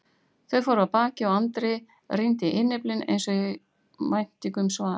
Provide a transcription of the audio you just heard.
Þau fóru af baki og Andri rýndi í innyflin eins og í væntingu um svar.